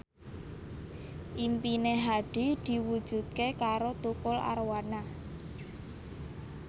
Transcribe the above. impine Hadi diwujudke karo Tukul Arwana